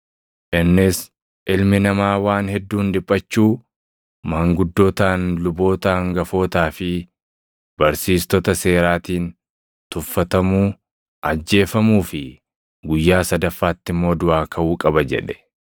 Innis, “Ilmi Namaa waan hedduun dhiphachuu, maanguddootaan, luboota hangafootaa fi barsiistota seeraatiin tuffatamuu, ajjeefamuu fi guyyaa sadaffaatti immoo duʼaa kaʼuu qaba” jedhe.